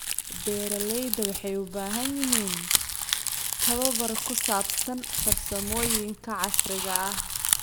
Beeralayda waxay u baahan yihiin tababar ku saabsan farsamooyinka casriga ah.